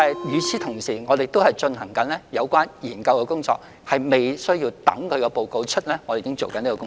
與此同時，我們正在進行相關研究工作，這是在報告發表前已經進行的工作。